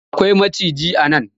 Da akwai macijai a nan.